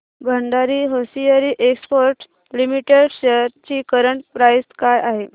Bhandari hosiery exports limited shares ची current price काय आहे